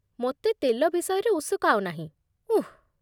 ମୋତେ ତେଲ ବିଷୟରେ ଉସୁକାଅ ନାହିଁ, ଉଃ।